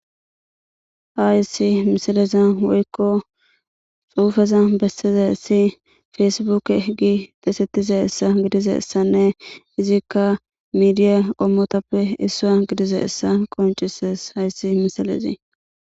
Hayiss missilezanni woyikko xuufezanni besizayiss Facebook g besettizayissa gidizayissanne izzikka midiya qommotappe issuwa gidizayissa qonccisess hayiss misilezzi.